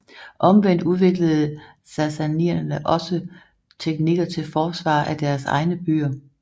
Omvendt udviklede sassaniderne også teknikker til forsvar af deres egne byer